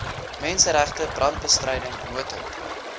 menseregte brandbestryding noodhulp